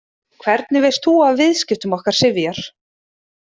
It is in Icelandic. Hvernig veist þú af viðskiptum okkar Sifjar?